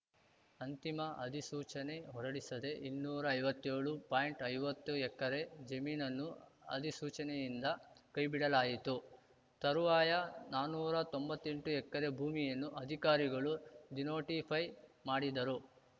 ಅಂತಿಮ ಅಧಿಸೂಚನೆ ಹೊರಡಿಸದೆ ಇನ್ನೂರಾ ಐವತ್ತೇಳು ಪಾಯಿಂಟ್ಐವತ್ತು ಎಕರೆ ಜಮೀನನ್ನು ಅಧಿಸೂಚನೆಯಿಂದ ಕೈಬಿಡಲಾಯಿತು ತರುವಾಯ ನಾನುರಾ ತೊಂಬತ್ತೆಂಟು ಎಕರೆ ಭೂಮಿಯನ್ನು ಅಧಿಕಾರಿಗಳು ಡಿನೋಟಿಫೈ ಮಾಡಿದರು